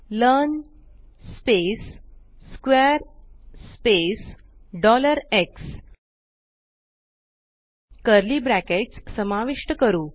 learn space square space x curly brackets समाविष्ट करू